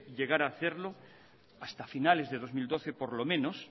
llegara a hacerlo hasta finales del dos mil doce por lo menos